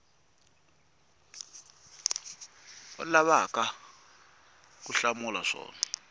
u lavaka ku hlamula swona